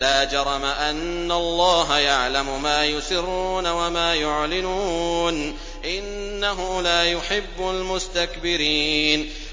لَا جَرَمَ أَنَّ اللَّهَ يَعْلَمُ مَا يُسِرُّونَ وَمَا يُعْلِنُونَ ۚ إِنَّهُ لَا يُحِبُّ الْمُسْتَكْبِرِينَ